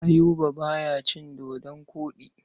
Ayuba ba ya cin dodon koɗi.